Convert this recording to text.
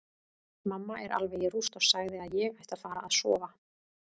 Mamma er alveg í rúst og sagði að ég ætti að fara að sofa.